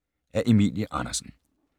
Af Emilie Andersen